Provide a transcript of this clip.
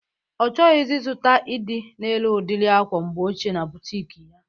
Ọ chọghọzi izuta ịdị na-ere udiri akwa mgbe ochie na butik ya